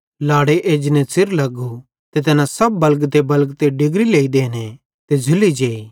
लाड़ो एजने च़िर लग्गू ते तैना सब बलगतेबलगते डिगरी लेइ देने ते झ़ुल्ली जेई